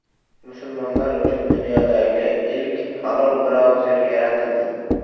Musulmonlar uchun dunyodagi ilk halol brauzer yaratildi.